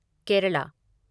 Kerala